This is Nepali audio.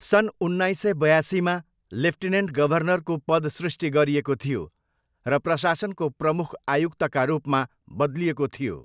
सन् उन्नाइस सय बयासीमा, लेफ्टिनेन्ट गभर्नरको पद सृष्टि गरिएको थियो र प्रशासनको प्रमुख आयुक्तका रूपमा बदलिएको थियो।